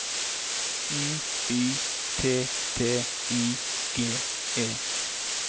N Y T T I G E